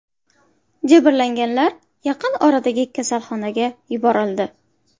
Jabrlanganlar yaqin oradagi kasalxonaga yuborildi.